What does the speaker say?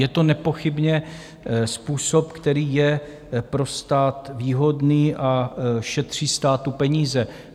Je to nepochybně způsob, který je pro stát výhodný a šetří státu peníze.